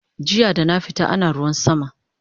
Jiya dana fita ana ruwan sama